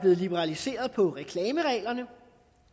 liberaliseret